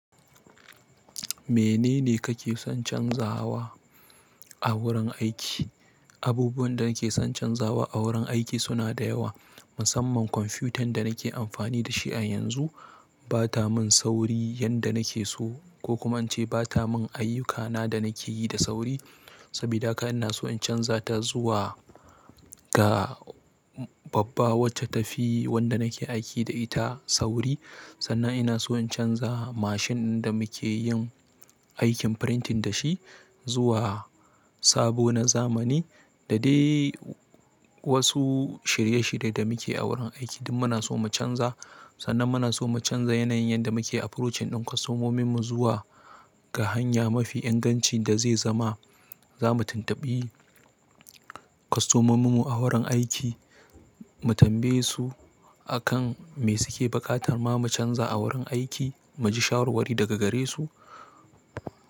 Menene kake son canzawa a wurin aiki? Abubuwan da nake son canzawa a wurin aiki suna da yawa. Musamman kwamfiyutan da nake amfani da shi a yanzu bata mun sauri yadda nake so ko kuma ince bata mun ayyukana da nake yi da sauri. Sabida haka ina so in canza ta zuwa ga babba wace tafi wanda nake aiki da ita sauri. Sannan ina so in canza mashin da muke yin aikin printing da shi zuwa sabo na zamani. Da dai wasu shirye-shirye da muke a wurin aiki, duk muna so mu canza. Sannan muna so mu canza yanayin yadda muke approaching ɗin kostomominmu zuwa ga hanya mafi inganci da zai zama za mu tuntubi kostomominmu a wurin aiki, mu tambaye su akan me suke buƙata ma mu canza a wurin aiki, mu ji shawarwari daga gare su.